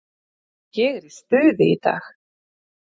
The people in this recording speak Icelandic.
Ég er í stuði í dag.